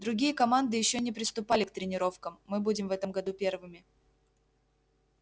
другие команды ещё и не приступали к тренировкам мы будем в этом году первыми